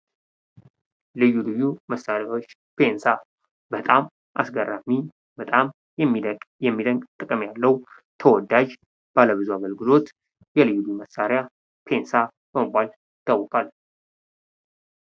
ልዩ ልዩ መሳሪያዎች፦ ፔንሳ በጣም አስገራሚ ፣ በጣም የሚደንቅ ጥቅም ያለው ፣ ተወዳጅ ፣ ባለብዙ አገልግሎት የልዩ ልዩ መሳሪያ ፔንሳ በመባል ይታወቃል ።